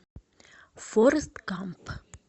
форрест гамп